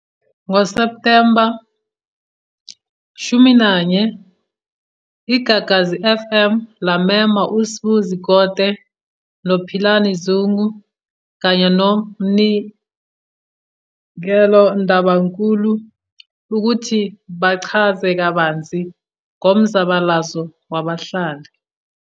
Ngo Septhemba 11,I GAGASI FM lamema u Sbu Zikode no Philani Zungu kanye no Mnikelo Ndabankulu, ukuthi bachaza kabanzi ngomzabalazo wabahlali.